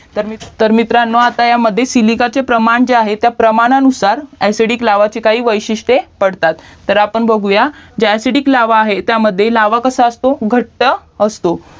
तर मित्रांनो आता ह्याच्यामध्ये सिलिकाचे प्रमाण जे आहे प्रमाणानुसार ACIDIC लावाचे काही वैशिष्टे पडतात तर आपण बघूयात जे ACIDIC लावा आहे त्यामध्ये लावा कसं असतो घट्ट असतो